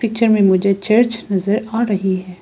Picture में मुझे church नजर आ रही है।